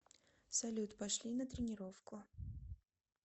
салют пошли на тренировку